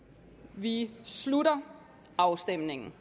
vi slutter afstemningen